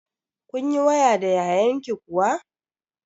Kun yi waya da yayanki kuwa?